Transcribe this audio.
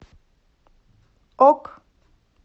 ок